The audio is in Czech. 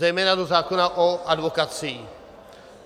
- zejména do zákona o advokacii.